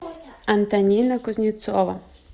антонина кузнецова